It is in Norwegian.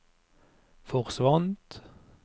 forsvant